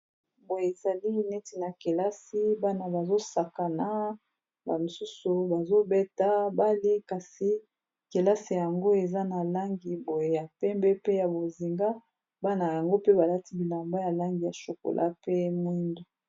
Boye ezali neti na kelasi bana bazosakana ba mosusu bazobeta bale kasi kelasi yango eza na langi boye ya pembe pe ya bozinga bana yango pe balati bilamba ya langi ya chokola pe mwindu.